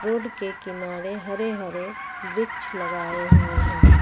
Road के किनारे हरे हरे वृक्ष लगाए हुए हैं।